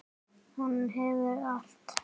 Hún hefur allt.